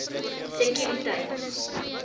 sekuriteit